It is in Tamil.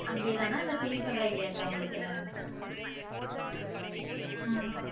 அங்கே தானா இல்ல change பண்ற idea யா இருக்கா உங்களுக்க உம்